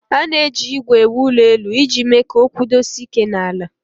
A na-eji ígwè ewu ụlọelu iji mee ka ọ kwụdosie ike n'ala